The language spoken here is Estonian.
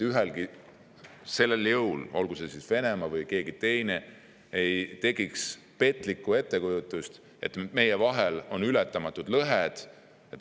Ühelgi sellisel jõul, olgu Venemaa või keegi teine, ei tohiks tekkida petlikku ettekujutust, et meie vahel on ületamatud lõhed.